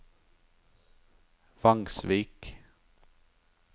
Vangsvik